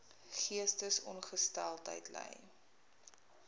geestesongesteldheid ly